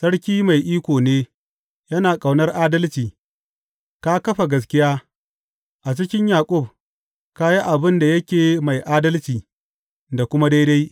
Sarki mai iko ne, yana ƙaunar adalci ka kafa gaskiya; a cikin Yaƙub ka yi abin da yake mai adalci da kuma daidai.